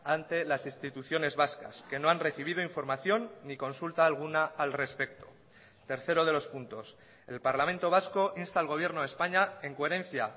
ante las instituciones vascas que no han recibido información ni consulta alguna al respecto tercero de los puntos el parlamento vasco insta al gobierno de españa en coherencia